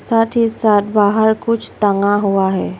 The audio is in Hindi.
साथ ही साथ बाहर कुछ टंगा हुआ है।